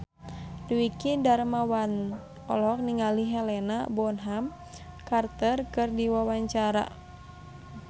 Dwiki Darmawan olohok ningali Helena Bonham Carter keur diwawancara